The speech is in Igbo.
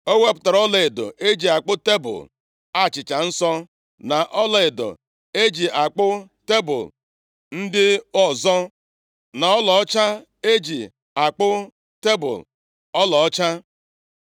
Ọ wepụtara ọlaedo e ji akpụ tebul achịcha nsọ, na ọlaedo e ji akpụ tebul ndị ọzọ, na ọlaọcha e ji akpụ tebul ọlaọcha.